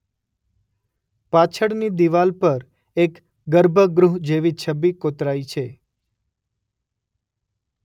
પાછળની દીવાલ પર એક ગર્ભગૃહ જેવી છબી કોતરાઈ છે